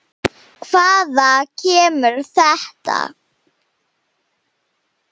Hvaðan kemur þetta?